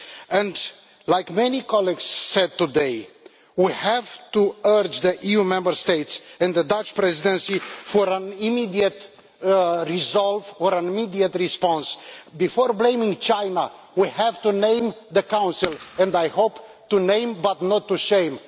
As many colleagues said today, we have to urge the EU Member States and the Dutch Presidency for an immediate resolution or an immediate response. Before blaming China, we have to name the Council and I hope to name but not to shame.